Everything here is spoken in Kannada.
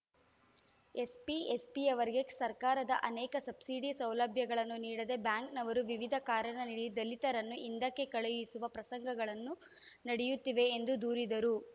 ಎಸ್ಪಿ ಎಸ್ಪಿಯವರಿಗೆ ಸರ್ಕಾರದ ಅನೇಕ ಸಬ್ಸಿಡಿ ಸೌಲಭ್ಯಗಳನ್ನು ನೀಡದೇ ಬ್ಯಾಂಕ್‌ನವರು ವಿವಿಧ ಕಾರಣ ನೀಡಿ ದಲಿತರನ್ನು ಹಿಂದಕ್ಕೆ ಕಳುಹಿಸುವ ಪ್ರಸಂಗಗಳನ್ನು ನಡೆಯುತ್ತಿವೆ ಎಂದು ದೂರಿದರು